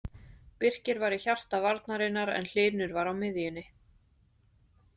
Birkir var í hjarta varnarinnar en Hlynur var á miðjunni.